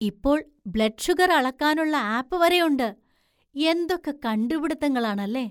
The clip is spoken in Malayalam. ഇപ്പോൾ ബ്ലഡ് ഷുഗര്‍ അളക്കാനുള്ള ആപ്പ് വരെയുണ്ട്; എന്തൊക്കെ കണ്ടുപിടിത്തങ്ങളാണല്ലേ!